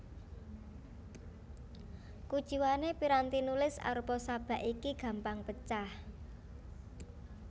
Kuciwané piranti nulis arupa sabak iki gampang pecah